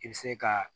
I bɛ se ka